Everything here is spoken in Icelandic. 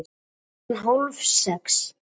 Klukkan hálf sex